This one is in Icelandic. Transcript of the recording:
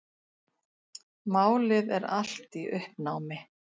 Málið er allt í uppnámi.